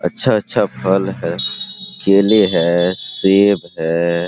अच्छा-अच्छा फल है केले है सेब है।